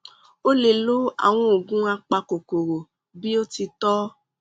ó lè lo àwọn oògùn apakòkòrò bí ó ti tọ